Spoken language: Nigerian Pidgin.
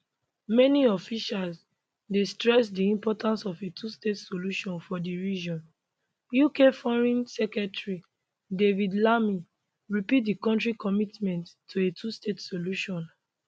many officials dey stress di importance of a twostate solution for di region ukforeign secretary david lammy repeat di country commitment to a twostate solution